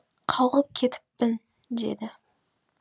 қалғып кетіппін деді